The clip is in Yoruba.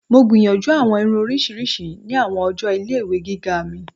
Mo gbiyanju awọn irun oriṣiriṣi ni awọn ọjọ ile-iwe giga mi.